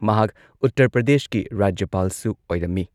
ꯃꯍꯥꯛ ꯎꯇꯔ ꯄ꯭ꯔꯗꯦꯁꯀꯤ ꯔꯥꯖ꯭ꯌꯄꯥꯜꯁꯨ ꯑꯣꯏꯔꯝꯃꯤ ꯫